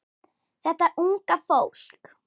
Þetta unga fólk.